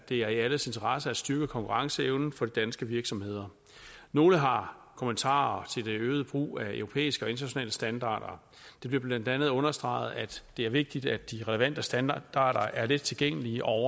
det er i alles interesse at styrke konkurrenceevnen for de danske virksomheder nogle har kommentarer til den øgede brug af europæiske og internationale standarder det bliver blandt andet understreget at det er vigtigt at de relevante standarder er let tilgængelige og